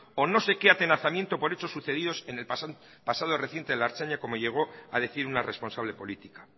o no sé qué atenazamiento por hechos sucedidos en el pasado reciente la ertzaintza como llegó a decir una responsable política